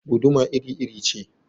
Guduma iri-iri ce